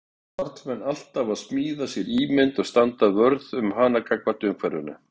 Karlmenn alltaf að smíða sér ímynd og standa vörð um hana gagnvart umhverfinu.